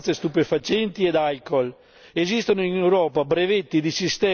Dobbiamo intervenire sull'abuso di sostanze stupefacenti e alcool.